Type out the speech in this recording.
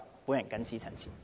我謹此陳辭。